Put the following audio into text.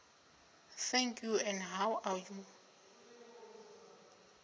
thank you and how are